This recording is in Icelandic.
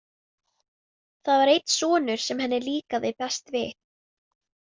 Það var einn sonur sem henni líkaði best við.